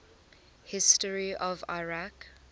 history of iraq